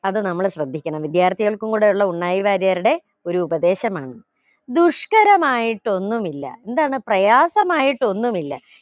അതു നമ്മള് ശ്രദ്ധിക്കണം വിദ്യാർത്ഥികൾക്കും കൂടെ ഉള്ള ഉണ്ണായി വാര്യരുടെ ഒരു ഉപദേശമാണ് ദുഷ്കരമായിട്ടൊന്നുമില്ല എന്താണ് പ്രയാസമായിട്ടൊന്നുമില്ല